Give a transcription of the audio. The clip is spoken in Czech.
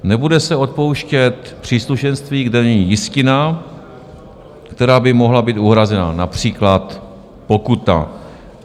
Nebude se odpouštět příslušenství, kde není jistina, která by mohla být uhrazena, například pokuta.